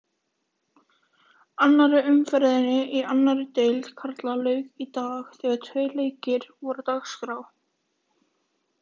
Annarri umferðinni í annarri deild karla lauk í dag þegar tveir leikir voru á dagskrá.